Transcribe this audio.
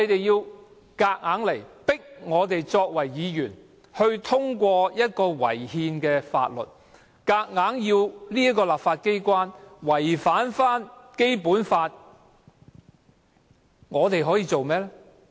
當政府強行要議員通過這項違憲的《條例草案》，強行要立法機關違反《基本法》，我們可以做甚麼？